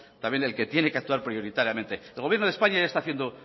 también el que tiene que actuar prioritariamente el gobierno de españa ya está haciendo